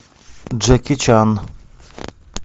джеки чан